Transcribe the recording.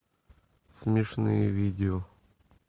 смешные видео